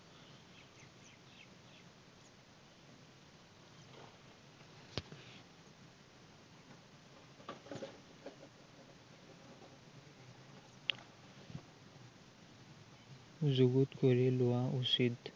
যুগুত কৰি লোৱা উচিত।